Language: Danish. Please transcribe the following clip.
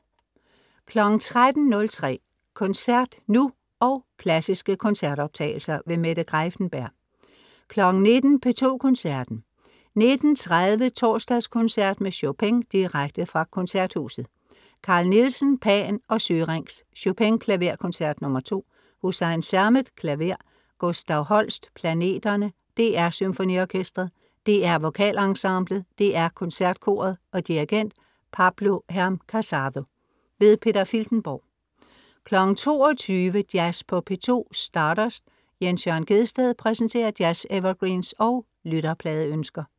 13.03 Koncert nu, og klassiske koncertoptagelser. Mette Greiffenberg 19.00 P2 Koncerten19.30 Torsdagskoncert med Chopin. Direkte fra Koncerthuset. Carl Nielsen: Pan og Syrinx. Chopin: Klaverkoncert nr. 2. Hüseyin Sermet, klaver. Gustav Holst: Planeterne. DR SymfoniOrkestret. DR VokalEnsemblet. DR KoncertKoret. Dirigent: Pablo Heras-Casado. Peter Filtenborg 22.00 Jazz på P2. Stardust. Jens Jørn Gjedsted præsenterer jazz-evergreens og lytterpladeønsker